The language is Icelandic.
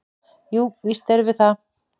"""Jú, víst erum við það."""